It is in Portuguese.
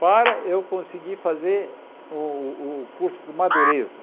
para eu conseguir fazer o o curso de madureza.